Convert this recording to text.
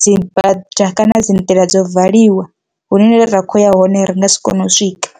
dzi bada kana dzi nḓila dzo valiwa hune ra kho ya hone ri nga si kone u swika.